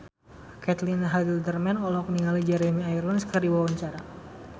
Caitlin Halderman olohok ningali Jeremy Irons keur diwawancara